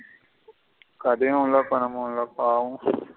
கதையும் இல்ல பணமும் இல்ல பாவம்.